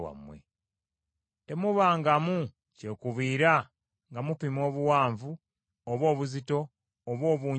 “Temubangamu kyekubiira nga mupima obuwanvu, oba obuzito, oba obungi bw’ebintu.